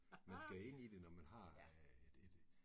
Man skal ind i det, når man har et et